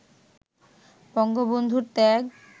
বঙ্গবন্ধুর ত্যাগ